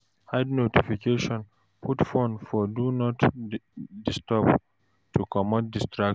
Hide notification, put phone for Do Not Disturb to comot distractions